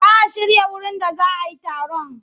Za a shirya wurin da za a yi taron.